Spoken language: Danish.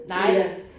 Nej